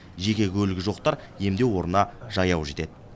жеке көлігі жоқтар емдеу орнына жаяу жетеді